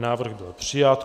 Návrh byl přijat.